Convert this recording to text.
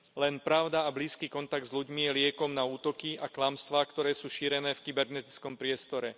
Len pravda a blízky kontakt s ľuďmi je liekom na útoky a klamstvá, ktoré sú šírené v kybernetickom priestore.